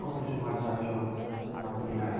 Qual foi o seu maior desafio na culinária?